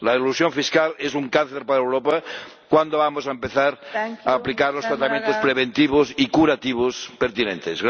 La elusión fiscal es un cáncer para Europa ¿cuándo vamos a empezar a aplicar los tratamientos preventivos y curativos pertinentes?